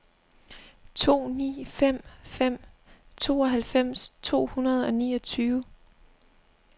to ni fem fem tooghalvfems to hundrede og niogtyve